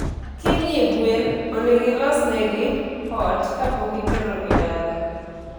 Kinyie gwen onego ilosnegi ot kapokiterogi dala